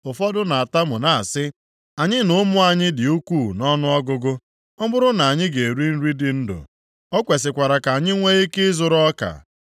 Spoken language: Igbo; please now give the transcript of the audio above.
Ụfọdụ na-atamu na-asị, “Anyị na ụmụ anyị dị ukwuu nʼọnụọgụgụ. Ọ bụrụ na anyị ga-eri nri dị ndụ, o kwesikwara ka anyị nwee ike ịzụrụ ọka.”